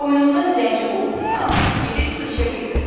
Boynunda zəncir olduğundan gedib su içə bilmirdi.